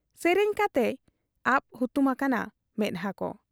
ᱥᱮᱨᱮᱧ ᱠᱟᱛᱮᱭ ᱟᱵ ᱦᱩᱛᱩᱢ ᱟᱠᱟᱱᱟ ᱢᱮᱫᱦᱟᱠᱚ ᱾